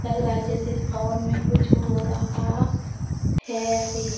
लग रहा है जैसे इस भवन में कुछ हो रहा है अभी।